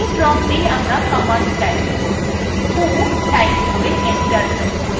who type করে enter press করুন